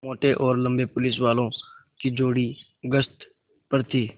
मोटे और लम्बे पुलिसवालों की जोड़ी गश्त पर थी